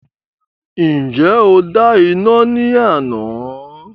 Ǹjẹ́ o dá iná ní àná?